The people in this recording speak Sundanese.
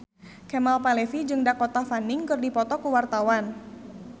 Kemal Palevi jeung Dakota Fanning keur dipoto ku wartawan